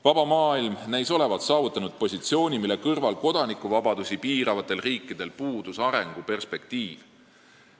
Vaba maailm näis olevat saavutanud positsiooni, mille kõrval puudus kodanikuvabadusi piiravatel riikidel arenguperspektiiv.